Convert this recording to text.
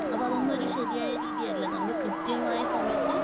അപ്പൊ അതൊന്നും ഒരു ശെരിയായ രീതിയല്ല. നമ്മൾ കൃത്യമായ സമയത്ത്